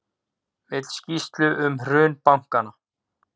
Vill skýrslu um hrun bankanna